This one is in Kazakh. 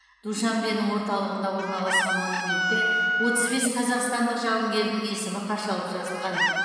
душанбенің орталығында орналасқан монументте отыз бес қазақстандық жауынгердің есімі қашалып жазылған